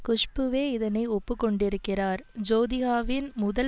குஷ்புவே இதனை ஒப்பு கொண்டிருக்கிறார் ஜோதிகாவின் முதல்